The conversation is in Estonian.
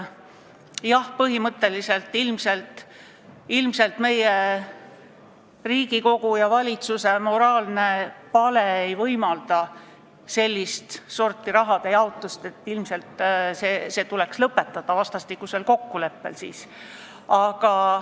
Jah, ilmselt Riigikogu ja valitsuse moraalne pale ei võimalda sellist sorti rahade jaotust ja nii tuleks see arvatavasti vastastikusel kokkuleppel lõpetada.